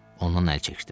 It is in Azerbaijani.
Ondan əl çəkdim.